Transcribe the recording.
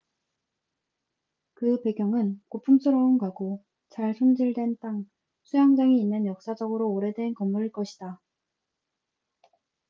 그 배경은 고풍스러운 가구 잘 손질된 땅 수영장이 있는 역사적으로 오래된 건물일 것이다